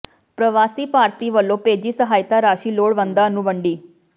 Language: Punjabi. ਪ੍ਰਵਾਸੀ ਭਾਰਤੀ ਵਲੋਂ ਭੇਜੀ ਸਹਾਇਤਾ ਰਾਸ਼ੀ ਲੋੜਵੰਦਾਂ ਨੂੰ ਵੰਡੀ